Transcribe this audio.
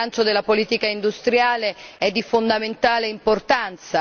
Il rilancio della politica industriale è di fondamentale importanza.